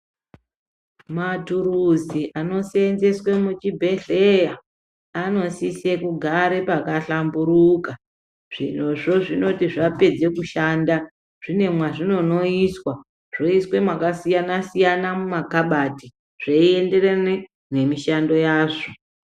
Mathuruzi anoseenzeswe muchibhedhleya anosise kugare pakahlamburuka. Zvirozvo zvinoti zvapedze kushanda zvine mwazvinondoiswa, zvoiswe mwakasiyana mumakhabathi zveienderana nemishando yazvo.